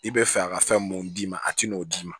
I bɛ fɛ a ka fɛn mun d'i ma a t'o d'i ma